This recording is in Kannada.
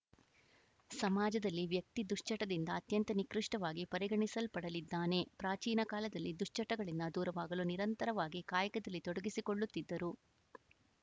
ಸಮಾಜದಲ್ಲಿ ವ್ಯಕ್ತಿ ದುಶ್ಚಟದಿಂದ ಅತ್ಯಂತ ನಿಕೃಷ್ಟವಾಗಿ ಪರಿಗಣಿಸಲ್ಪಡಲಿದ್ದಾನೆ ಪ್ರಾಚೀನ ಕಾಲದಲ್ಲಿ ದುಶ್ಚಟಗಳಿಂದ ದೂರವಾಗಲು ನಿರಂತರವಾಗಿ ಕಾಯಕದಲ್ಲಿ ತೊಡಗಿಸಿಕೊಳ್ಳುತ್ತಿದ್ದರು